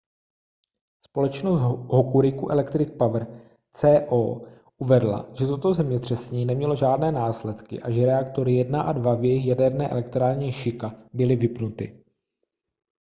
společnost hokuriku electric power co uvedla že toto zemětřesení nemělo žádné následky a že reaktory 1 a 2 v jejich jaderné elektrárně shika byly vypnuty